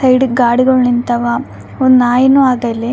ಸೈಡ್ಗ್ ಗಾಡಿಗುಳ್ ನಿಂತವ ಒಂದ್ ನಾಯಿನು ಅದ ಇಲ್ಲಿ .